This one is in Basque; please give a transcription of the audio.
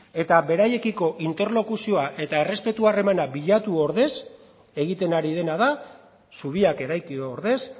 eta beraiekiko interlokuzio eta errespetu harremana bilatu ordez egiten ari dena da zubiak eraiki ordez